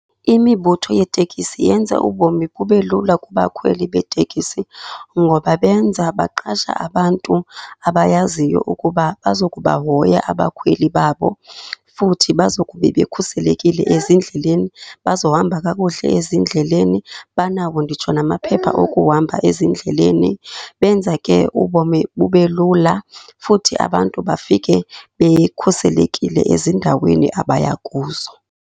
Imibutho yeetekisi yenza ubomi bube lula kubakhweli beetekisi ngoba benza baqasha abantu abayaziyo ukuba bazokuba hoya abakhweli babo. Futhi bazokube bekhuselekile ezindleleni, bazohamba kakuhle ezindleleni. Banawo nditsho namaphepha okuhamba ezindleleni. Benza ke ubomi bube lula futhi abantu bafike bekhuselekile ezindaweni abaya kuzo.